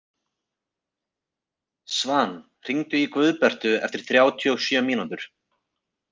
Svan, hringdu í Guðbertu eftir þrjátíu og sjö mínútur.